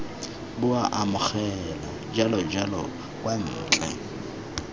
bua amogela jalojalo kwa ntle